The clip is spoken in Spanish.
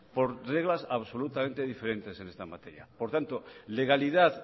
por reglas absolutamente diferentes en esta materia por tanto legalidad